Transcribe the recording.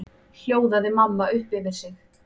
hljóðaði mamma upp yfir sig.